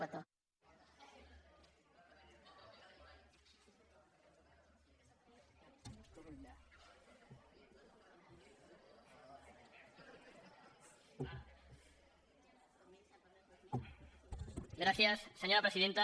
gràcies senyora presidenta